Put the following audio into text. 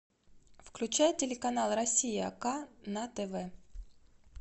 включай телеканал россия к на тв